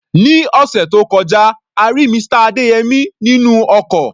Ní ọ̀sẹ̀ tó kọjá, a rí Mr. Adeyemi nínú ọkọ̀.